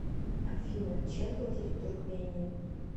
афина чем платить в туркмении